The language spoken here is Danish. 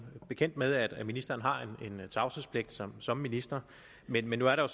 bekendt med at ministeren har en tavshedspligt som som minister men men der er